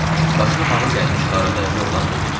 Başına hava gəlmiş qara dərili oğlan dedi: